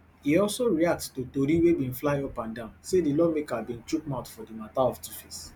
e also react to tori wey bin fly upandan say di lawmaker bin chook mouth for di mata of tuface